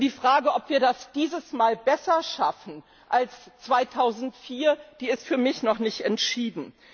Und die Frage, ob wir das dieses Mal besser schaffen als 2004, ist für mich noch nicht entschieden.